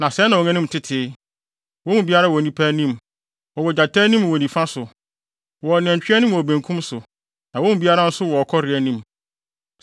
Na sɛɛ na wɔn anim tete: Wɔn mu biara wɔ onipa anim, wɔwɔ gyata anim wɔ nifa so, wɔwɔ nantwi anim wɔ benkum so; na wɔn mu biara nso wɔ ɔkɔre anim.